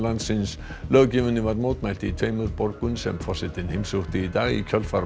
landsins löggjöfinni var mótmælt í tveimur borgum sem forsetinn heimsótti í dag í kjölfar